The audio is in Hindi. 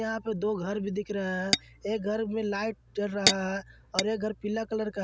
यहां पे दो घर भी दिख रहे हैं एक घर में लाइट चल रहा है और एक घर पीला कलर का --